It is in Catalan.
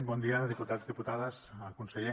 bon dia diputats diputades conseller